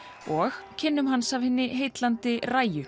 og kynnum hans af hinni heillandi